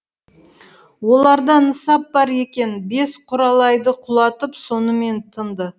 оларда нысап бар екен бес құралайды құлатып сонымен тынды